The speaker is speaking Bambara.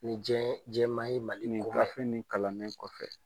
Ni diɲɛ ye diɲɛmaa ye Mali kofɔ yan , nin gafe in kalanen kɔfɛ.